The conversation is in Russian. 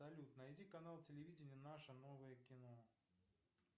салют найди канал телевидения наше новое кино